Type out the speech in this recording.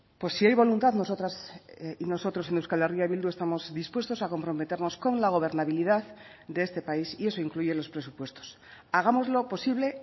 pues si hay voluntad nosotras y nosotros en euskal herria bildu estamos dispuestos a comprometernos con la gobernabilidad de este país y eso incluye los presupuestos hagámoslo posible